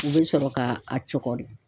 U bɛ sɔrɔ ka a cɔkɔri.